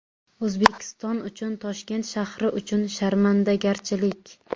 O‘zbekiston uchun, Toshkent shahri uchun... Sharmandagarchilik.